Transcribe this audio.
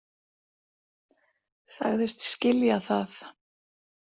Sagðist skilja það.